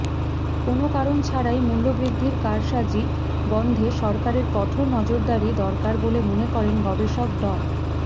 কোনো কারণ ছাড়াই মূল্যবৃদ্ধির কারসাজি বন্ধে সরকারের কঠোর নজরদারি দরকার বলে মনে করেন গবেষক ড